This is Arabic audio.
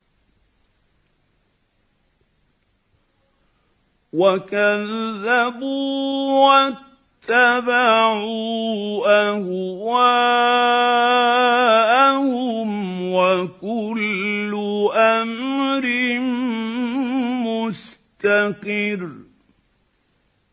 وَكَذَّبُوا وَاتَّبَعُوا أَهْوَاءَهُمْ ۚ وَكُلُّ أَمْرٍ مُّسْتَقِرٌّ